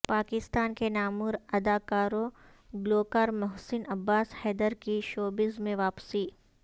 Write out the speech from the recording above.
پاکستان کے نامور اداکار و گلوکار محسن عباس حیدر کی شوبز میں واپسی